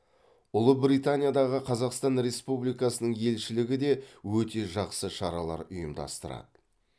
ұлыбританиядағы қазақстан республикасының елшілігі де өте жақсы шаралар ұйымдастырады